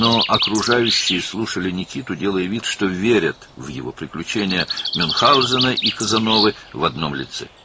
Lakin ətrafdakılar Nikitanı dinləyir, Münxauzenin və Kazanovun macəralarına tək bir şəxsdə inandıqlarını göstərirdilər.